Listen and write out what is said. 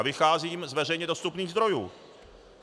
A vycházím z veřejně dostupných zdrojů.